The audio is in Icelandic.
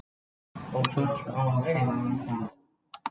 Helsti vandinn sem steðjar að tígrisdýrum er eyðilegging búsvæða þeirra.